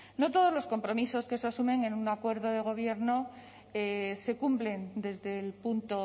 no todos los compromisos que se asumen en un acuerdo de gobierno se cumplen desde el punto